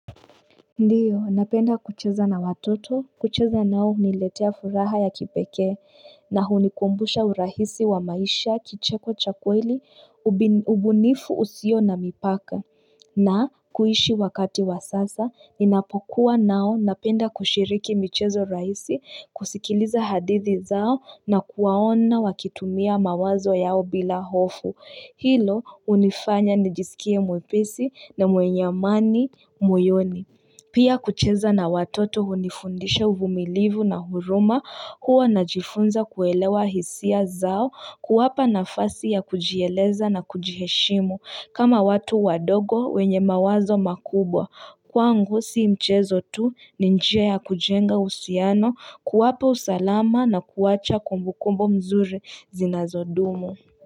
Ndiyo, napenda kucheza na watoto, kucheza nao huniletea furaha ya kipekee, na hunikumbusha urahisi wa maisha kicheko cha kweli, ubunifu usio na mipaka, na kuishi wakati wa sasa, ninapokuwa nao napenda kushiriki michezo raisi, kusikiliza hadithi zao na kuwaona wakitumia mawazo yao bila hofu. Hilo hunifanya nijisikie mwepesi na mwenye amani moyoni. Pia kucheza na watoto hunifundisha uvumilivu na huruma huwa najifunza kuelewa hisia zao kuwapa nafasi ya kujieleza na kujiheshimu kama watu wadogo wenye mawazo makubwa. Kwangu si mchezo tu ni njia ya kujenga uhusiano kuwapa usalama na kuwacha kumbukumbu mzuri zinazodumu.